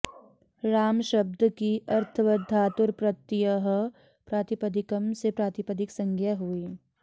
राम शब्द की अर्थवदधातुरप्रत्ययः प्रातिपदिकम् से प्रातिपदिक संज्ञा हुई